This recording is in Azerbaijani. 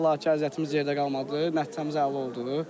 Şükür Allaha ki, əziyyətimiz yerdə qalmadı, nəticəmiz əla oldu.